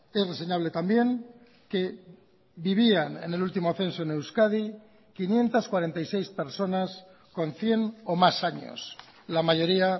es reseñable también que vivían en el último censo en euskadi quinientos cuarenta y seis personas con cien o más años la mayoría